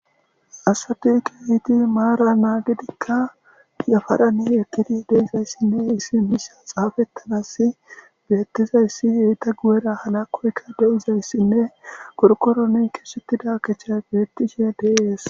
asati yiidi maara naagidikka yafarani eqqidi de7izayssinne issi misha xaafettanassi beyettizayssi eta guyera halakoyka deizayssinne qorqoroni keexxettida keththay beyettishe de7ees